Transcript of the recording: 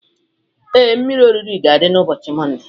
Ee, mmiri orire ga-adị n'ụbọchị Mọnde